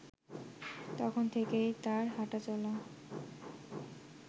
তখন থেকেই তার হাঁটা-চলা